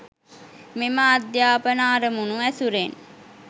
මෙම අධ්‍යාපන අරමුණු ඇසුරෙන්